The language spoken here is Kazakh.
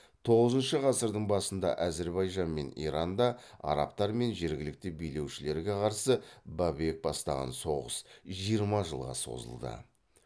тоғызыншы ғасырдың басында әзірбайжан мен иранда арабтар мен жергілікті билеушілерге қарсы бабек бастаған соғыс жиырма жылға созылды